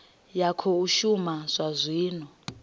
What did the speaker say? ya khou shuma zwa zwino